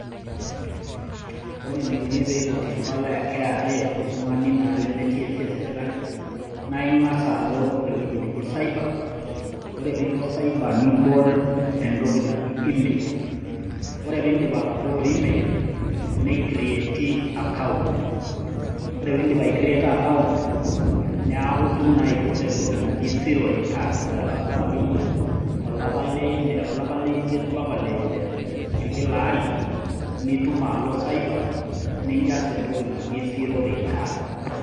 Ore eneikuni peiputi empalai e KRA toltung'ani naa lemetii esiai e serkali, naa ing'as alo ewei neji cyber ore pee ilo cyber nibol entoki naji email ore pee indip atabolo email, neicreti naa account ore pee indip aicreto account, neaku itum naa aiput entoki naji zero returns ore elo ebau naa akeyie olapa le imiet, olapa le ile, kila ari, nitum alo cyber nijaza entoki naji zero returns.